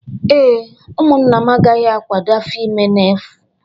Ee, ụmụnna m agaghị akwado afọ ime ma ofu